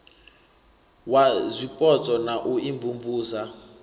wa zwipotso na u imvumvusa